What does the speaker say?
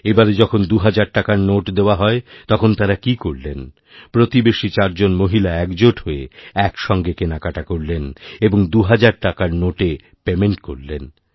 এবারে যখন দুহাজার টাকার নোটদেওয়া হয় তখন তাঁরা কী করলেন প্রতিবেশী চারজন মহিলা একজোট হয়ে এক সঙ্গে কেনাকাটাকরলেন এবং দুহাজার টাকার নোটে পেমেন্ট করলেন